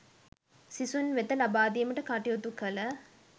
සිසුන් වෙත ලබාදීමට කටයුතු කළ